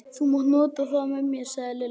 Þú mátt nota þá með mér sagði Lilla.